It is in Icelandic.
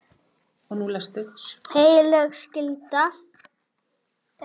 Heilög skylda.